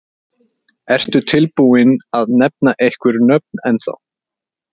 Ertu tilbúinn að nefna einhver nöfn ennþá?